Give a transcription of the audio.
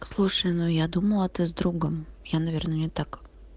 слушай ну я думала ты с другом я наверное не так